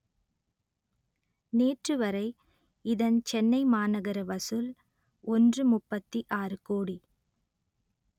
நேற்றுவரை இதன் சென்னை மாநகர வசூல் ஒன்று முப்பத்தி ஆறு கோடி